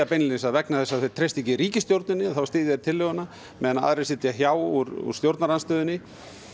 beinlínis að vegna þess að þeir treysti ekki ríkisstjórninni þá styðji þeir tillöguna meðan aðrir sitja hjá úr stjórnarandstöðunni